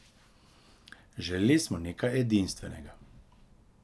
Želeli smo nekaj edinstvenega.